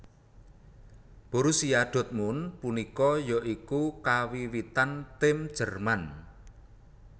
Borussia dortmund punika ya iku kawiwitan tim jerman